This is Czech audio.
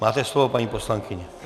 Máte slovo, paní poslankyně.